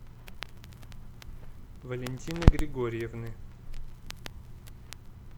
валентины григорьевны